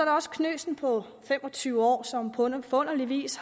også knøsen på fem og tyve år som på forunderlig vis